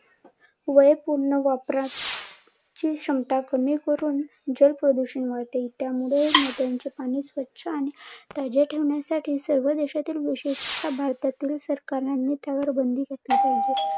पूर्ण वापरात ची क्षमता कमी करून जल प्रदूषण वाढते, त्यामुळे नद्यांचे पाणी स्वच्छ आणि ताजे ठेवण्यासाठी सर्व देशातील विशिष्ट भारतातील सरकारने त्यावर बंदी घातली पाहिजे